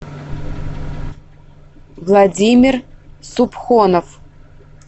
владимир супхонов